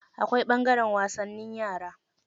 Akwai ɓangaren wasannin yara.